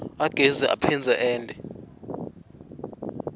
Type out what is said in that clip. agezi aphindze ente